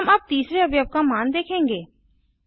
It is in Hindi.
हम अब तीसरे अवयव का मान देखेंगे